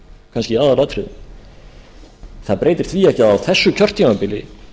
kannski í aðalatriðum það breytir því ekki að á þessu kjörtímabili